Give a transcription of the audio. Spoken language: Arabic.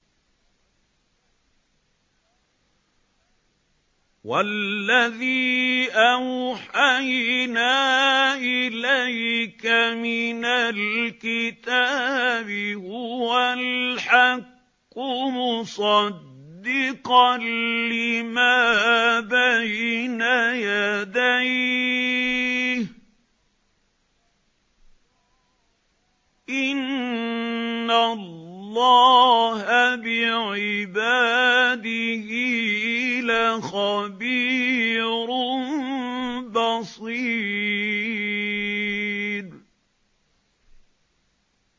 وَالَّذِي أَوْحَيْنَا إِلَيْكَ مِنَ الْكِتَابِ هُوَ الْحَقُّ مُصَدِّقًا لِّمَا بَيْنَ يَدَيْهِ ۗ إِنَّ اللَّهَ بِعِبَادِهِ لَخَبِيرٌ بَصِيرٌ